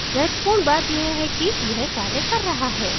महत्वपूर्ण बात यह है कि यह कार्य कर रहा है